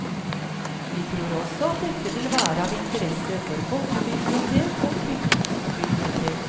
Vi tror også at dette vil være av interesse for folkebibliotek og fylkesbibliotek.